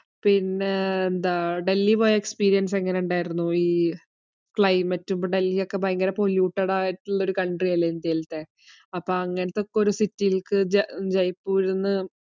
പിന്നെ? ഡൽഹിയിൽ പോയിട്ട് ഉള്ള experience എങ്ങനെ ഉണ്ടായിരുന്നു. ഈ climat ഉം, ഡല്ഹിയി ഒക്കെ ഭയങ്കര polluted ആയിട്ടു ഉള്ള country അല്ലെ ഇന്ത്യയിലെത്തെ. അപ്പോ അങ്ങനത്തെ ഒരു city യിലേക്ക് ജയ്‌പ്പൂരിന്.